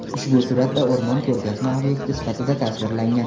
Ushbu suratda o‘rmon ko‘rgazma obyekti sifatida tasvirlangan.